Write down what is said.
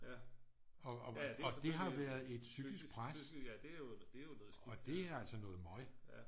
Og det har været et psykisk pres og det er altså noget møg